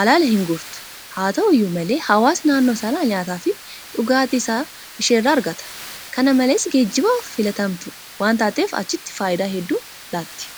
alala hinguurtu. Haata'u iyyuu malee hawaasni naannoo sanaa nyaataafi dhugaatii isaa isheerraa argata. Kana malees geejibaaf filatamtuu waantaateef achitti faayidaa hedduu laatti.